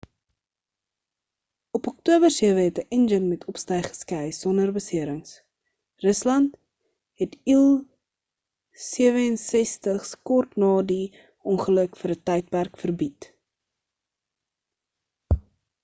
op oktober 7 het 'n enjin met opstyg geskei sonder beserings. rusland het il-76's kort ná die ongeluk vir ń tydperk verbied